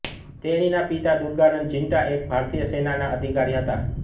તેણીના પિતા દૂર્ગાનન્દ ઝિન્ટા એક ભારતીય સેનાના અધિકારી હતા